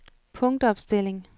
punktopstilling